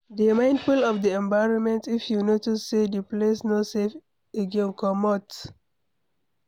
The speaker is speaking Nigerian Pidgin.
dey mindful of di environment if you notice sey di place no safe again, comot